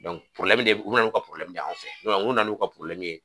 ne bɛ ye u bɛ na n'u ka de ye anw fɛ n'u nana n'u ka